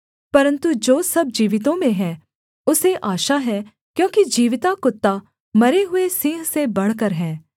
परन्तु जो सब जीवितों में है उसे आशा है क्योंकि जीविता कुत्ता मरे हुए सिंह से बढ़कर है